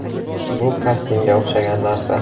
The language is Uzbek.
Bu kastingga o‘xshagan narsa”.